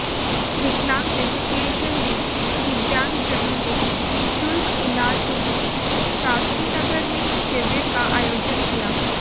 विकलांग एसोसिएशन ने दिव्यांगजनों को निःशुल्क इलाज हेतु शास्त्री नगर में शिविर का आयोजन किया